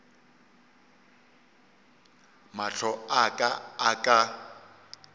mahlo a ka a ka